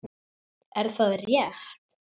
Er það rétt??